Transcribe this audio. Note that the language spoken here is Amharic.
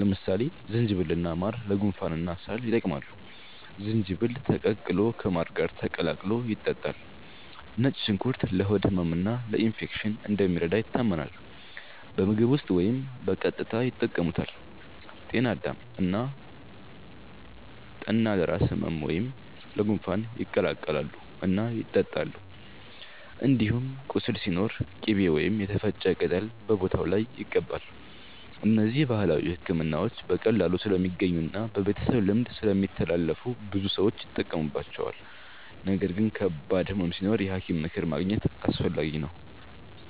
ለምሳሌ ዝንጅብልና ማር ለጉንፋንና ሳል ይጠቅማሉ፤ ዝንጅብል ተቀቅሎ ከማር ጋር ተቀላቅሎ ይጠጣል። ነጭ ሽንኩርት ለሆድ ህመምና ለኢንፌክሽን እንደሚረዳ ይታመናል፤ በምግብ ውስጥ ወይም በቀጥታ ይጠቀሙበታል። ጤና አዳም እና ጠና ለራስ ህመም ወይም ለጉንፋን ይቀቀላሉ እና ይጠጣሉ። እንዲሁም ቁስል ሲኖር ቅቤ ወይም የተፈጨ ቅጠል በቦታው ላይ ይቀባል። እነዚህ ባህላዊ ሕክምናዎች በቀላሉ ስለሚገኙና በቤተሰብ ልምድ ስለሚተላለፉ ብዙ ሰዎች ይጠቀሙባቸዋል። ነገር ግን ከባድ ህመም ሲኖር የሐኪም ምክር ማግኘት አስፈላጊ ነው።